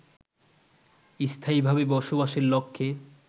স্থায়ীভাবে বসবাসের লক্ষ্যে